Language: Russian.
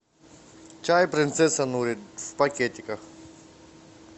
чай принцесса нури в пакетиках